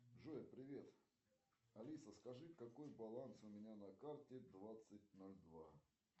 джой привет алиса скажи какой баланс у меня на карте двадцать ноль два